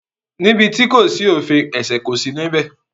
Níbi tí kò sí òfin ẹ̀ṣẹ̀ kò sí níbẹ̀.